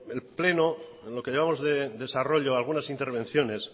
el pleno en lo que llevamos de desarrollo de algunas intervenciones